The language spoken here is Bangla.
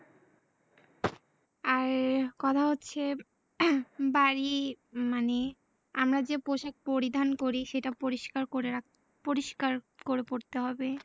আর কথা হচ্ছে বাড়ি মানে আমরা যে পোশাক পরিধান করি সেটা পরিস্কার করে, পরিস্কার করে পরতে হবে।